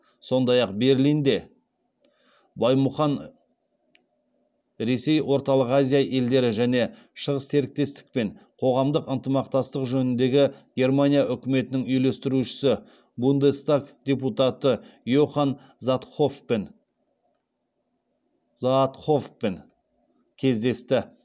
сондай ақ берлинде баймұхан ресей орталық азия елдері және шығыс серіктестікпен қоғамдық ынтымақтастық жөніндегі германия үкіметінің үйлестірушісі бундестаг депутаты заатхоффпен кездесті